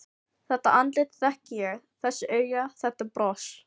Þetta andlit þekki ég: Þessi augu, þetta bros.